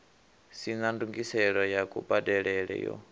sina ndungiselo ya kubadelele yo